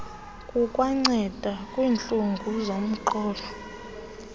kukwanceda nakwiintlungu zomqolo